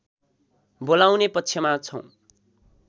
बोलाउने पक्षमा छौँ